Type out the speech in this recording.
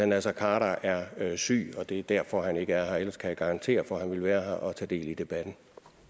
naser khader er er syg og at det er derfor han ikke er her ellers kan jeg garantere for at han ville være her og tage del i debatten